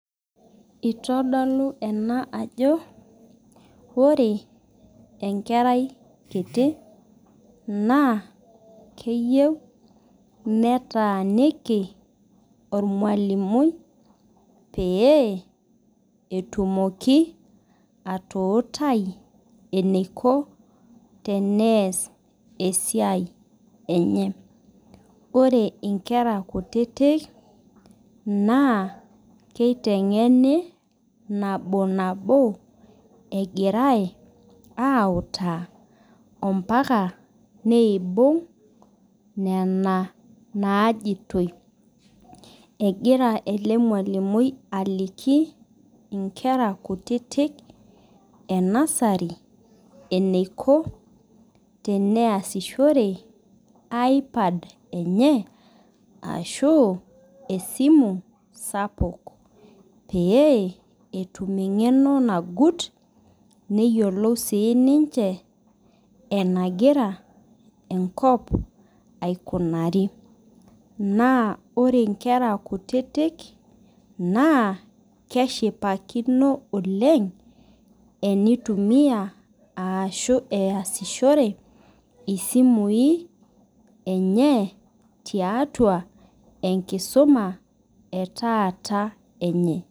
Itadoku ina ajo ore enkerai nkiti na keyieu netaaniki ormalimui peyiebl etumoki atuutai eniko teneas esiai enye ore nkera kutitik na kitengenk nabonabo egirai autaa ambaka neibung nena najitoi egira ele malimui aliki nkera kutitik enasari eniko tenameasishore ipad lenye ashu esimu sapuk pee etum engeno nagut neyiolou sinye enagira enkop aikunari na orenkera nkutitik na keshipakino oleng enitumia ashu easishore ore esimui enye tiatua enkisuma etaata enye.